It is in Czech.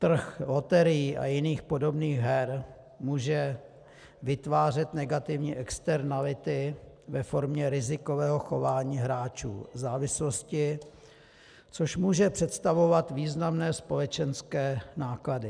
Trh loterií a jiných podobných her může vytvářet negativní externality ve formě rizikového chování hráčů, závislosti, což může představovat významné společenské náklady.